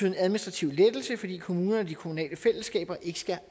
en administrativ lettelse fordi kommunerne og de kommunale fællesskaber ikke skal